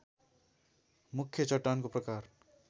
मुख्य चट्टानको प्रकार